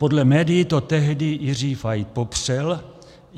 Podle médií to tehdy Jiří Fajt popřel.